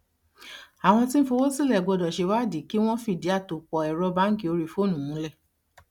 àwọn tí ń fowó sílẹ gbọdọ ṣe ìwádìí kí wọn fìdí àtòpọ ẹrọ báńkì orí fóònù múlẹ